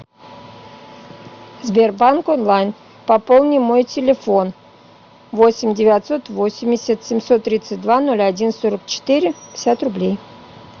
сбербанк онлайн пополни мой телефон восемь девятьсот восемьдесят семьсот тридцать два ноль один сорок четыре пятьдесят рублей